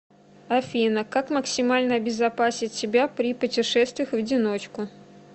афина как максимально обезопасить себя при путешествиях в одиночку